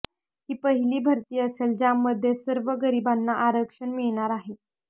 ही पहिली भरती असले ज्यामध्ये सवर्ण गरीबांना आरक्षण मिळणार आहे